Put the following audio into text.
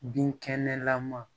Binkɛnɛlama